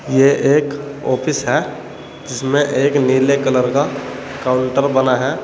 ये एक ऑफिस है जिसमें एक नीले कलर का काउंटर बना है।